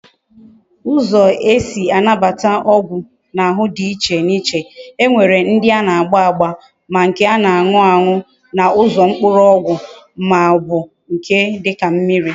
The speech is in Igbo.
Uzo ezi anabata ogwu na ahu di na iche na iche. E nwere ndi ana agba agba, ma nke ana anu any na Uzo mkpuru ogwu ma o bu nke dika mmiri